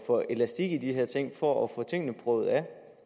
for elastik i de her ting for at få tingene prøvet af